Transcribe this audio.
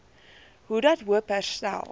hoedat hoop herstel